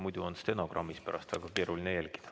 Muidu on stenogrammis pärast väga keeruline jälgida.